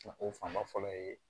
O fan ba fɔlɔ ye